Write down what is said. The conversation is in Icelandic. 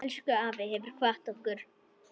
Elsku afi hefur kvatt okkur.